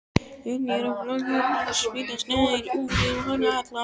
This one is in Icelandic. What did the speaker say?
Henni er flökurt og svita slær út um hana alla.